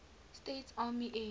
states army air